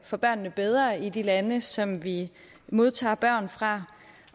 for børnene bedre i de lande som vi modtager børn fra